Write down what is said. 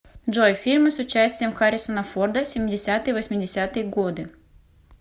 джой фильмы с участием харрисона форда семидесятые восемьдесятые годы